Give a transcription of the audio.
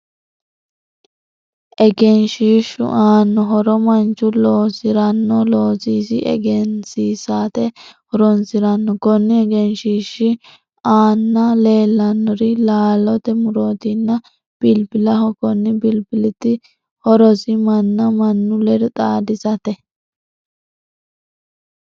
Egenshiishu aano horo manchu loosiranno loososi egensiisate horoonsirano konni egenshiishi aanna leelanori laallote murootinna bilbilaho. Konni bilbiliti horosi manna mannu ledo xaadisatae.